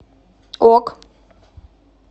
ок